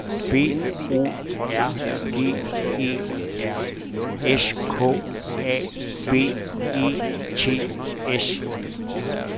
B O R G E R S K A B E T S